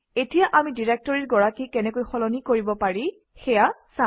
এতিয়া আমি ডিৰেক্টৰীৰ গৰাকী কেনেকৈ সলনি কৰিব পাৰি সেয়া চাম